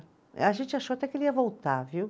A gente achou até que ele ia voltar, viu?